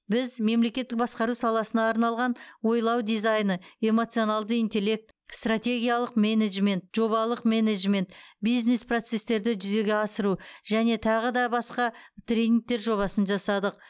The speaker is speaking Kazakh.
біз мемлекеттік басқару саласына арналған ойлау дизайны эмоционалды интеллект стратегиялық менеджмент жобалық менеджмент бизнес процестерді жүзеге асыру және тағы да басқа тренингтер жобасын жасадық